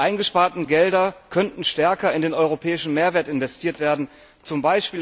Die eingesparten Gelder könnten stärker in den europäischen Mehrwert investiert werden, z.